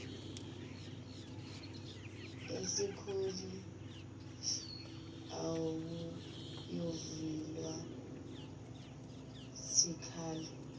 kwesikhalo akuyovunyelwa sikhalo